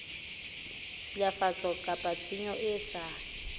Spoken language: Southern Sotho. tshilafatso kapa tshenyo e sa